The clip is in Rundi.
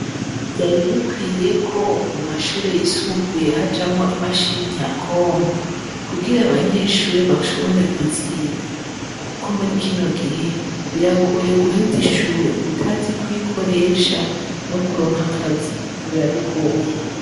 vyari bikwiye ko mu mashure yisumbuye hajamwo imashini nyabwonko kugira abanyeshure bashobore kuziga. Kuko muri kino gihe, biragoye guheza ishure utazi kuyikoresha no kuronka akazi biba bigoye.